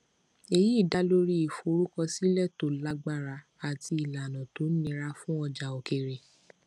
èyí dá lórí ìforúkọsílẹ tó lágbára àti ìlànà tó nira fún ọjà òkèèrè